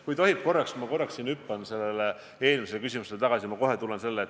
Kui tohib, siis ma korraks hüppan eelmise küsimuse juurde tagasi.